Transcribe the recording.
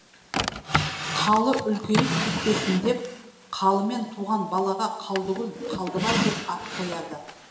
қалы үлкейіп кетпесін деп қалымен туған балаға қалдыгүл қалдыбай деп ат қояды